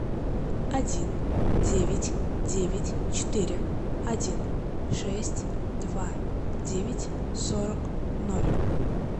один девять девять четыре один шесть два девять сорок ноль